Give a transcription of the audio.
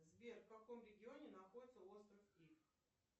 сбер в каком регионе находится остров ив